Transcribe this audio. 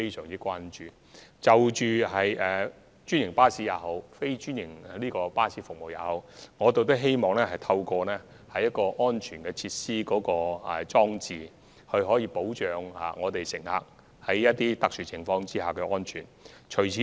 因此，在專營巴士及非專營巴士方面，我們希望透過安全措施和裝置保障乘客在特殊情況下的安全。